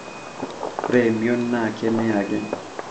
oreemion naa keme ake